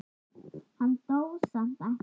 Hann dó samt ekki.